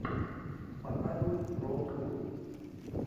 показывай роуд муви